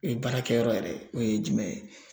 Ee baarakɛyɔrɔ yɛrɛ o ye jumɛn ye